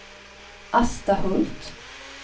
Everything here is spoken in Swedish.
Asta Hult